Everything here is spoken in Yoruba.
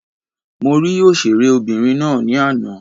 Mo rí òṣèré obìnrin ná ní àná.